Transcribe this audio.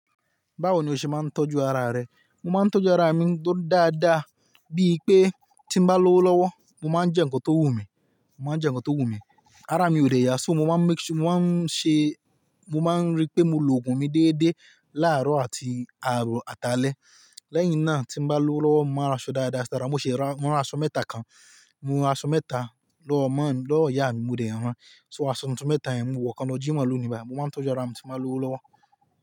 Báwo ni o ṣe máa ń tọ́jú ara rẹ? Mo máa ń tọ́jú ara mi tó dáadáa, bíi pé tí mo bá lówó lọ́wọ́, mo máa ń jẹ nǹkan tó wù mí, mo máa ń jẹ nǹkan tó wù mí. Ara mi ò dẹ̀ yà, so mo máa ń make-- mo máa ń ṣe, mo máa ń rí pé mo lo òògùn mi déédéé láàárọ̀ àti àárọ̀ àti alẹ́. Lẹ́yìn náà tí mo bá lówó lọ́wọ́, mo máa ń ra aṣọ dáadáa, dáa dáa, mo ṣe ra, mo ra aṣọ mẹ́ta kan, mo ra aṣọ mẹ́ta lọ́ mọ́-- lọ́ ìyá mi, mo rẹ̀ ẹ́ ràn. So aṣọ tuntun mẹ́ta yẹn, mo wọ̀ kan lọ́ jimo loní bayii. Mo máa ń tọ́jú ara mi tí n bá lówó lọ́wọ́.